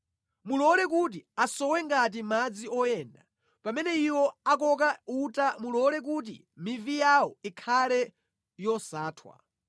Mulole kuti asowe ngati madzi oyenda pamene iwo akoka uta mulole kuti mivi yawo ikhale yosathwa.